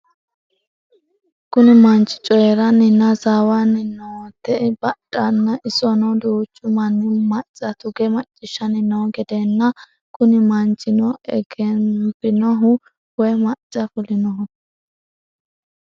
Kuni mannich coyiranina hasawani nootae bundhana isono duuchu Mani maca tuge maccishanni noo geedena Kuni mannichino egenabinoho woyi maca fuliniho?